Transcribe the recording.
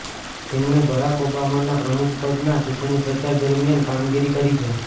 તેમણે બરાક ઓબામાના પ્રમુખપદના ચૂંટણીપ્રચાર દરમિયાન કામગીરી કરી છે